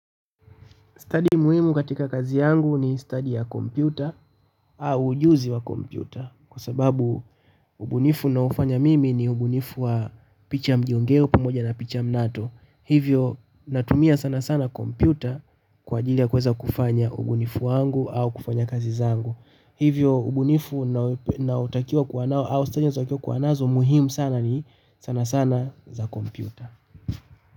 Study muhimu katika kazi yangu ni study ya kompyuta au ujuzi wa kompyuta kwa sababu ubunifu ninaofanya mimi ni ubunifu wa picha mjongeo pamoja na picha mnato. Hivyo natumia sanasana kompyuta kwa ajili ya kuweza kufanya ubunifu wangu au kufanya kazi zangu. Hivyo ubunifu nautakiwa kuwa nao au study zake kuwa nazo muhimu sana ni sanasana za kompyuta.